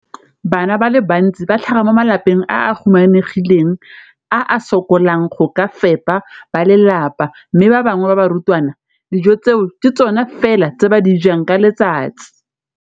Bana ba le bantsi ba tlhaga mo malapeng a a humanegileng a a sokolang go ka fepa ba lelapa mme ba bangwe ba barutwana, dijo tseo ke tsona fela tse ba di jang ka letsatsi.